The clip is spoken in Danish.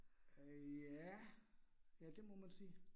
Øh ja. Ja, det må man sige